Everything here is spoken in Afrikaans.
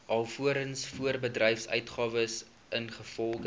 alvorens voorbedryfsuitgawes ingevolge